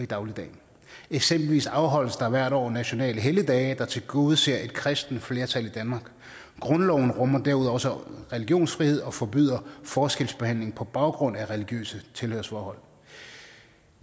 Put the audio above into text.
dagligdagen eksempelvis afholdes der hvert år nationale helligdage der tilgodeser et kristent flertal i danmark grundloven rummer derudover også religionsfrihed og forbyder forskelsbehandling på baggrund af religiøse tilhørsforhold